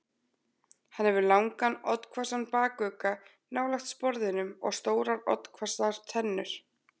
Hann hefur langan, oddhvassan bakugga nálægt sporðinum og stórar oddhvassar tennur.